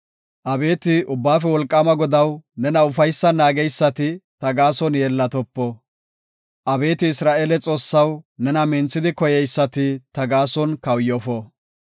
Abeeti Ubbaafe Wolqaama Godaw, nena ufaysan naageysati ta gaason yeellatopo. Abeeti Isra7eele Xoossaw, nena minthidi koyeysati ta gaason kawuyofo.